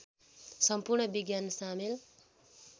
सम्पूर्ण विज्ञान सामेल